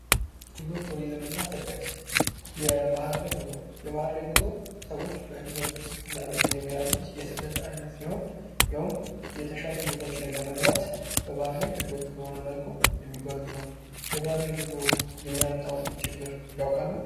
ጉዞ ፣ ቱሪዝምና ስደት ፦ የባህር ላይ ጉዞ ፦ የባህር ላይ ጉዞ ሰዎች በህገወጥ መልኩ የሚያደርጉት የስደት አይነት ሲሆን ይሄውም የተሻሉ ቦታዎች ላይ ለመግባት በባህር ላይ ፣ ህገወጥ በሆነ መልኩ የሚጓዙት ነው ። የባር ላይ ጉዞ የሚያመጣውን ችግር ያውቃሉ ?